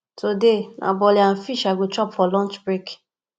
today na bole and fish i go chop for lunch break